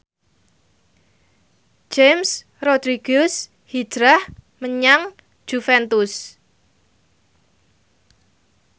James Rodriguez hijrah menyang Juventus